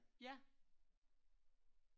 Ja